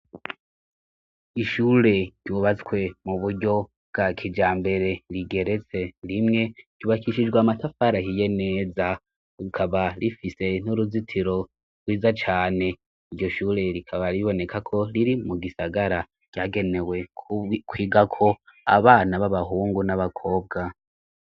Ishure ryubatswe mu buryo bwa kijambere rigeretse rimwe ryubakishijwe matafari ahiye neza rukaba rifise n'uruzitiro rwiza cane iryo shure rikaba riboneka ko riri mu gisagara ryagenewe kwiga ko abana b'abahungu n'abakobwa.